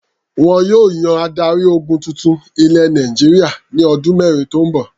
Wọn yóò yan adarí-ogun tuntun ilẹ̀ Nàìjíríà ní ọdún mẹ́rin tó ń bọ̀.